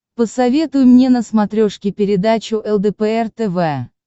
посоветуй мне на смотрешке передачу лдпр тв